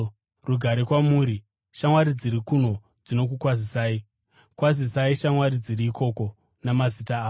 Rugare kwamuri. Shamwari dziri kuno dzinokukwazisai. Kwazisai shamwari dziri ikoko namazita avo.